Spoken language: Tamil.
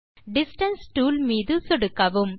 டிஸ்டன்ஸ் டூல் மீது சொடுக்கவும்